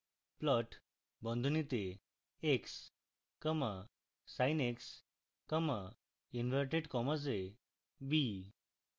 plot বন্ধনীতে x comma sin x comma inverted commas এ b